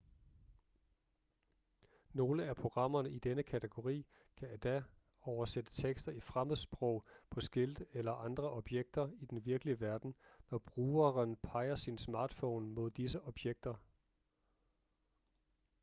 nogle af programmerne i denne kategori kan endda oversætte tekster i fremmedsprog på skilte eller andre objekter i den virkelige verden når brugeren peger sin smartphone mod disse objekter